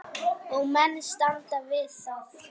Og menn standa við það.